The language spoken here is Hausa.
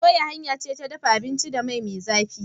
soyawa hanya ce ta dafa abinci da mai me zafi..